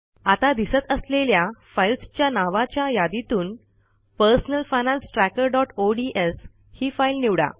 आता दिसत असलेल्या फाईल्सच्या नावाच्या यादीतून पर्सनल फायनान्स trackerओडीएस ही फाईल निवडा